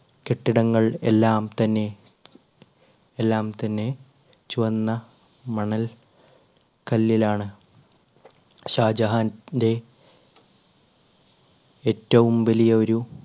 കെട്ടിടങ്ങൾ എല്ലാം തന്നെ എല്ലാം തന്നെ ചുവന്ന മണൽ കല്ലിലാണ് ഷാജഹാൻ~ന്റെ ഏറ്റവും വലിയ ഒരു